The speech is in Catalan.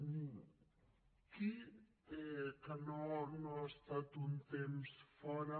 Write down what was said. qui que no ha estat un temps fora